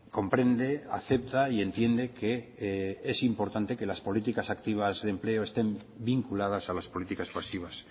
comprende acepta y entiende que es importante que las políticas activas de empleo estén vinculadas a las políticas pasivas